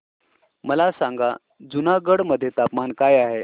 मला सांगा जुनागढ मध्ये तापमान काय आहे